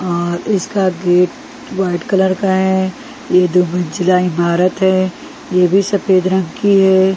और इसका gate white colour का है ये दोमिंचला इमारत है ये भी सफेद रंग की है।